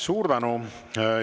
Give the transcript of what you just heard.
Suur tänu!